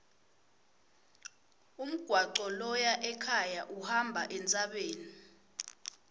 umgwaco loya ekhaya uhamba entsabeni